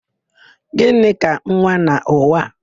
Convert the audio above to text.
Gịnị ka nwa n'ụwa a?